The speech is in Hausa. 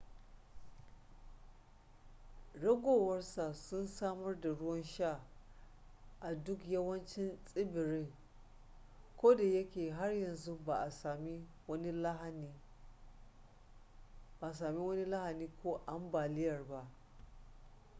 ragowar sa sun samar da ruwan sha a duk yawancin tsibirin koda yake har yanzu ba a sami wani lahani ko ambaliyar ba